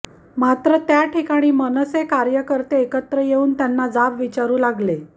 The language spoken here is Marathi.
मात्र त्या ठिकाणी मनसे कार्यकर्ते एकत्र येऊन त्यांना जाब विचारू लागले